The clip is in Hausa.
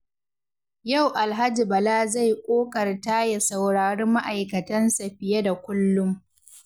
Yau Alhaji Bala zai ƙoƙarta ya saurari ma’aikatansa fiye da kullum.